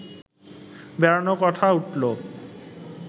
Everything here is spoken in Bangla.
বেড়ানোর কথা উঠল